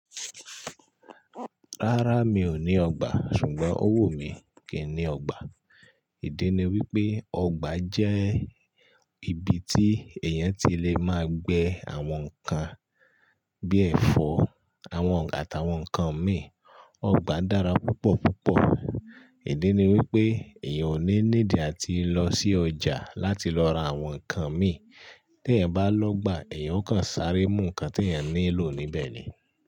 Rárá mi ò ní ọgbà, ṣùgbọ́n owu mi kì ń ní ọgbà. Ìdí ni wípé ọgbà jẹ́ ibi tí èèyàn ti lè máa gbẹ àwọn nǹkan bíi ẹ̀fọ́, àwọn ọ̀ àtàwọn nǹkan mìíràn. Ọgbà dára púpọ̀ púpọ̀. Ìdí ni wípé èèyàn ò ní need ati lọ sí ọjà láti lọ ra àwọn nǹkan mì. Tí èèyàn ba lọ́gbà, èèyàn ó kàn sáré mú nǹkan tí èèyàn ní lò níbẹ̀ ni.